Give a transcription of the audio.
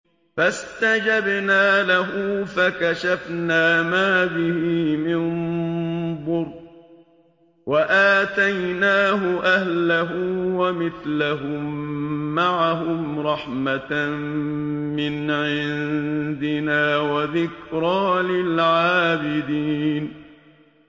فَاسْتَجَبْنَا لَهُ فَكَشَفْنَا مَا بِهِ مِن ضُرٍّ ۖ وَآتَيْنَاهُ أَهْلَهُ وَمِثْلَهُم مَّعَهُمْ رَحْمَةً مِّنْ عِندِنَا وَذِكْرَىٰ لِلْعَابِدِينَ